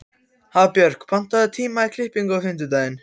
Hafbjörg, pantaðu tíma í klippingu á fimmtudaginn.